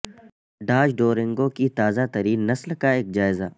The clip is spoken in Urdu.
ڈاج ڈورینگو کی تازہ ترین نسل کا ایک جائزہ